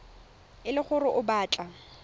e le gore o batla